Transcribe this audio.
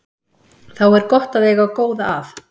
Þá er gott að eiga góða að.